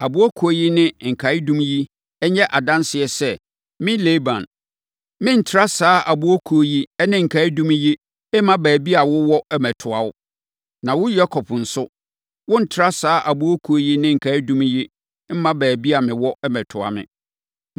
Aboɔ Kuo yi ne nkaeɛdum yi nyɛ adanseɛ sɛ, me Laban, merentra saa Aboɔ Kuo yi ne nkaeɛdum yi mma baabi a wowɔ mmɛtoa wo. Na wo Yakob nso, worentra saa Aboɔ kuo yi ne nkaeɛdum yi mma baabi a mewɔ mmɛtoa me.